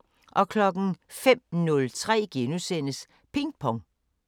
05:03: Ping Pong *